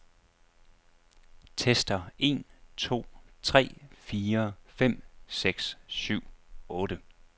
Tester en to tre fire fem seks syv otte.